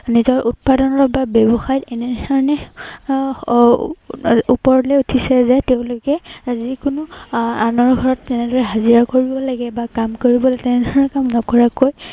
নিজৰ উৎপাদন বা ব্য়ৱসায়ত এনে ধৰনেৰে আহ এৰ ওপৰলৈ উঠিছে যে, তেওঁলোকে যি কোনো আহ আনৰ ঘৰত যেনেদৰে হাজিৰা কৰিব লাগে বা কাম কৰিব লাগে, তেনেধৰনৰ কাম নকৰাকৈ